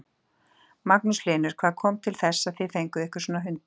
Magnús Hlynur: Hvað kom til að þið fenguð ykkur svona hunda?